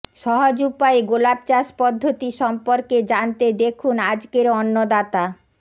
সহজ উপায়ে গোলাপ চাষ পদ্ধতি সম্পর্কে জানতে দেখুন আজকের অন্নদাতা